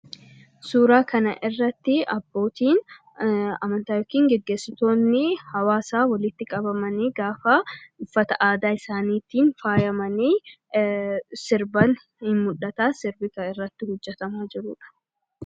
Suuraa kana irratti abbootiin amantaa yookiin geggeessitoonni hawaasaa walitti qabamanii, gaafa uffata aadaa isaaniitiin faayamanii, sirban ni mul'ata.